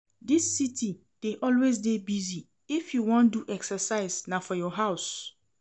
Dis city dey always dey busy, if you wan do exercise, na for your house.